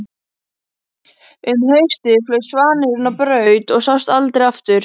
Um haustið flaug svanurinn á braut og sást aldrei aftur.